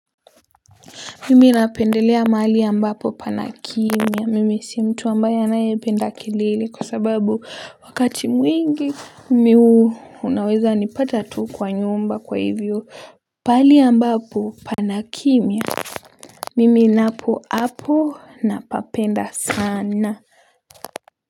Mimi napendelea mahali ambapo pana kimya mimi si mtu ambaye anayependa kelele kwa sababu wakati mwingi unaweza nipata tu kwa nyumba kwa hivyo pahali ambapo pana kimya mimi napo hapo napapenda sana.